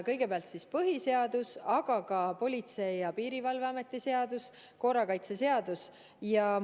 Kõigepealt põhiseaduses, aga ka Politsei- ja Piirivalveameti seaduses ja korrakaitseseaduses.